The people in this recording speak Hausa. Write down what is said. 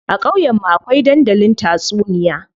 A ƙauyen mu akwai dandalin tatsuniya.